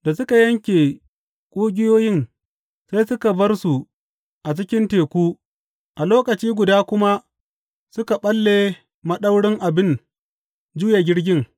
Da suka yanke ƙugiyoyin, sai suka bar su a cikin teku a lokaci guda kuma suka ɓalle maɗaurin abin juya jirgin.